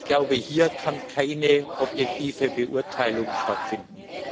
Ich glaube, hier kann keine objektive Beurteilung stattfinden.